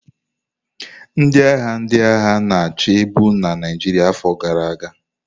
Ndị agha ndị agha na-achị bu na Naịjirịa afọ gara aga.